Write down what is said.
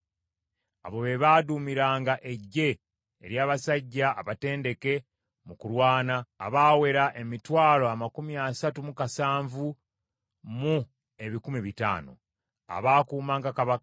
Abo be baaduumiranga eggye ery’abasajja abatendeke mu kulwana, abaawera emitwalo amakumi asatu mu kasanvu mu ebikumi bitaano (307,500), abaakuumanga kabaka.